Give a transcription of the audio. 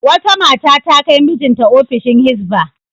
Wata mata ta kai mijinta ofishin Hizba.